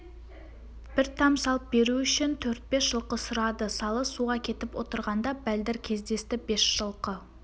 бір там салып беру үшін төрт-бес жылқы сұрады салы суға кетіп отырғанда бәлдір кездесті бес жылқы